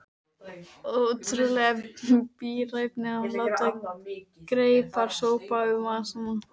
Ótrúleg bíræfni að láta greipar sópa um vasana.